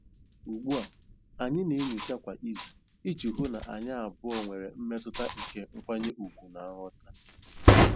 Ugbu a, anyị na-enyocha kwa izu iji hụ na anyị abụọ nwere mmetụta nke nkwanye ùgwù na nghọta.